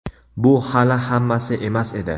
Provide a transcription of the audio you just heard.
Bu hali hammasi emas edi.